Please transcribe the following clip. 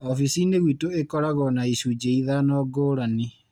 Oficinĩ gwitũ ikoragwo na icunjĩ ithano ngũrani.